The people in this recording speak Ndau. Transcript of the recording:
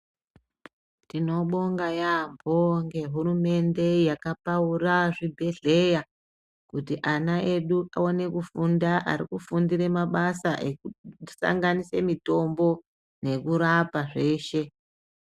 Tinobonga yaamho ngehuumende yakapaura zvibhedhleya. Kuti ana edu aone kufunda arikufundire mabasa ekusanganise mitombo yekurapa zveshe.